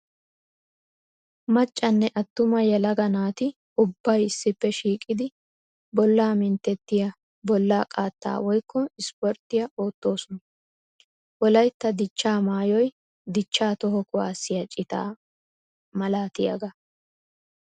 Maccanne atuma yelaga naati ubbay issippe shiiqiddi bolla minttetiya bolla qaatta woykko ispporttiya ootosonna. Wolaytta dicha maayoy dicha toho kuwasiya cita malatiyaaga.